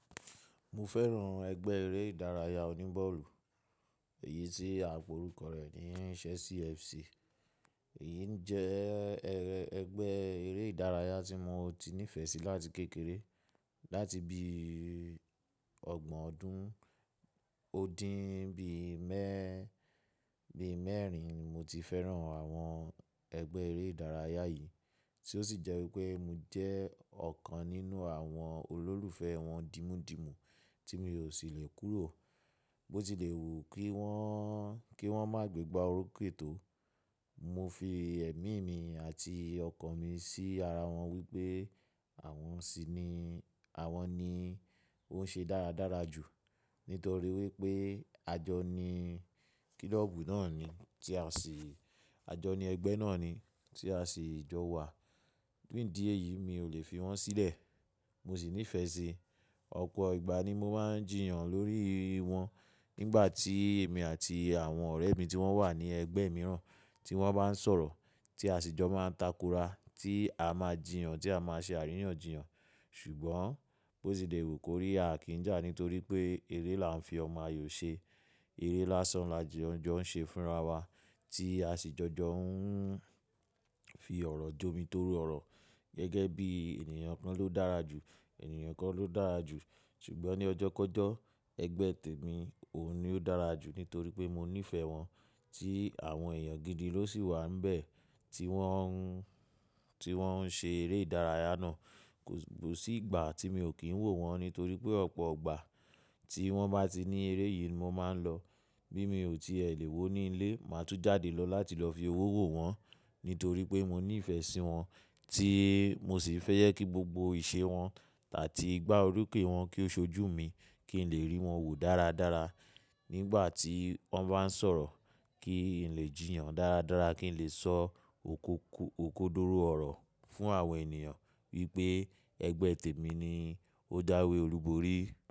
Mo fẹ́ràn ẹgbẹ́ eré ìdárayá oní bọ́ọ̀lù, èyí tí à pe orúkọ rẹ̀ ni Chelsea FC. Èyí jẹ́ ẹgbẹ́ eré ìdárayá tí mo ti nífẹ̀ẹ́ sí láti kékeré. Láti bí i ọgbọ̀n ọdún ó dín bí i mẹ́rin ni mo ti fẹ́ràn àwọn ẹgbẹ́ eré ìdárayá yìí tí ó sì jẹ́ wípé mo jẹ́ ọ̀kan nínú àwọn olólùfẹ́ wọn dímúdìmú tí mi ò sì lè kúrò. Bó ti le wù kí wọ́n má gbé gbá orúkè tó, mo fi ẹ̀mí mi àti ọkàn mi sí ara wọn wípé àwọn ní ó ń ṣe dáradára jù nítorí wípé àjọ ni kílọ́ọ̀bù náà ni tí a sì, àjọ ni ẹgbẹ́ náà ni tí a sì jọ wà. Nídí e yìí mi ò lè fi wọ́n sílẹ̀, mo sì nífẹ̀ẹ́ sí i. Ọ̀pọ̀ ìgbà ni mo máa ń jìyàn lórí wọn nígbà tí èmi àti àwọn ọ̀rẹ́ mi tí wọ́n wà ní ẹgbẹ́ mìíràn tí wọ́n bá ń sọ̀rọ̀ tí a sì jọ máa ń takora tí a máa jìyàn, tí a máa ṣe àríyànjiyàn. Ṣùgbọ́n bó ti lè wù kó rí a kì í jà nítorí pé eré la ń fi ọmọ ayò ṣe, eré lásán la jọ ń ṣe fúnra wa tí a sì jọjọ ń fi ọ̀rọ̀ jómi toro ọ̀rọ̀ gẹ́gẹ́ bí ènìyàn kan ló dára jù, ènìyàn kan ló dára jù. Ṣùgbọ́n ní ọjọ́kọjọ ẹgbẹ́ tèmi òun ni ó dára jù nítorí pé mo nífẹ̀ẹ́ wọn tí àwọn èèyàn gidi ló sì wà níbẹ̀ tí wọ́n ń ṣe eré ìdárayá náà. Kò sí ìgbà tí mi ò kín wò wọ́n nítorí pé ọ̀pọ̀ ìgbà tí wọ́n bá ti ní eré yìí ni mo máa ń lọ. Bí mi ò tí è lè wò ní ilé, màá tún jáde lọ láti lọ fi owó wò wọ́n nítorí pé mo nífẹ̀ẹ́ sí wọn tí mo sì fẹ́ jẹ́ kí gbogbo ìṣe wọn tàbí ìgbá orokè wọn kí ó ṣojú mi kí n lè rí wọn wò dáradára nígbà tí wọ́n bá ń sọ̀rọ̀ kí n lè jìyàn dáradára kí n lè sọ òkódóró ọ̀rọ̀ fún àwọn ènìyàn wípé ẹgbẹ́ tèmi ni ó jáwẹ́ olúborí.